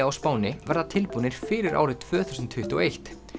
á Spáni verði tilbúnir fyrir árið tvö þúsund tuttugu og eitt